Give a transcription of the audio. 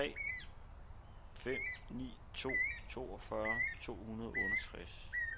tre fem ni to toogfyrre to hundrede og otteogtres